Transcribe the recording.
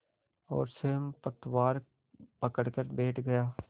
और स्वयं पतवार पकड़कर बैठ गया